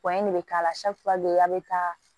de bɛ k'a la a bɛ taa